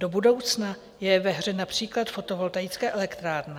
Do budoucna je ve hře například fotovoltaická elektrárna.